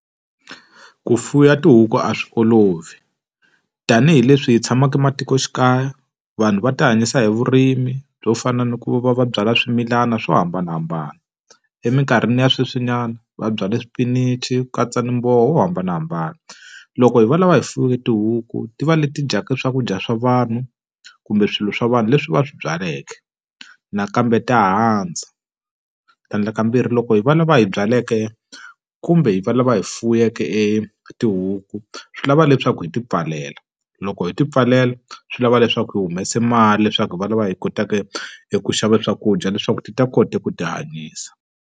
Ku fuwa tihuku a swi olovi. Tanihi leswi hi tshamaka matikoxikaya vanhu va tihanyisa hi vurimi byo fana na ku va va byala swimilana swo hambanahambana. Emikarhini ya sweswinyana va byale swipinichi ku katsa ni muroho yo hambanahambana. Loko hi valava hi fuweke, tihuku ti va leti ti dyaka swakudya swa vanhu kumbe swilo swa vanhu leswi va swi byaleke nakambe ta handza. Tlhandlakambirhi loko hi va lava hi byaleke kumbe hi va lava hi fuwiweke e tihuku, swi lava leswaku hi ti pfalela. Loko hi ti pfalela swi lava leswaku hi humesa mali leswaku hi va lava hi kotaka hi eku xava swakudya leswaku ti ta kota ku tihanyisa.